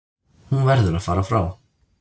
Hún verður að fara frá